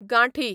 गांठी